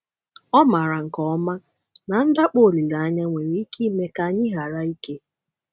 Ọ maara nke ọma na ndakpọ olileanya nwere ike ime ka anyị ghara ike.